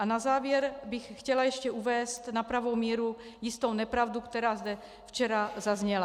A na závěr bych chtěla ještě uvést na pravou míru jistou nepravdu, která zde včera zazněla.